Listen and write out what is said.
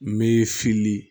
Me fili